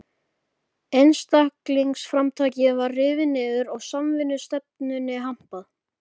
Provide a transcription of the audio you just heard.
Einstaklingsframtakið var rifið niður og samvinnustefnunni hampað.